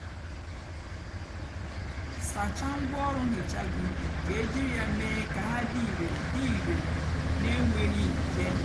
sácháá ngwaọrụ nhicha gị kà éjírí yá mée kà hà dị ìrè dị ìrè nà énwéghị nje.